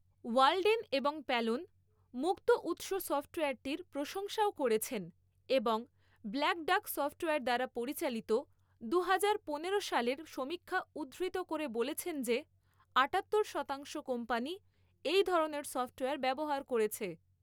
Walden এবং Pallone, মুক্ত উৎস সফ্টওয়্যারটির প্রশংসাও করেছেন, এবং ব্ল্যাক ডাক সফ্টওয়্যার দ্বারা পরিচালিত দুহাজার পনেরো সালের সমীক্ষা উদ্ধৃত করে বলেছেন যে, আটাত্তর শতাংশ কোম্পানি এই ধরনের সফ্টওয়্যার ব্যবহার করেছে।